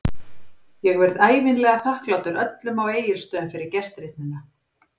Ég verð ævinlega þakklátur öllum á Egilsstöðum fyrir gestrisnina.